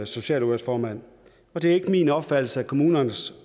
socialudvalgsformand det er ikke min opfattelse at kommunernes